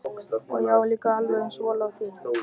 Og ég á líka alveg eins von á því.